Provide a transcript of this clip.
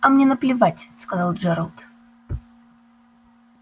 а мне наплевать сказал джералд